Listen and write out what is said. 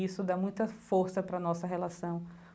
Isso dá muita força para a nossa relação.